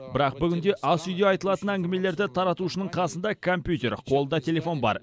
бірақ бүгінде ас үйде айтылатын әңгімелерді таратушының қасында компьютер қолда телефон бар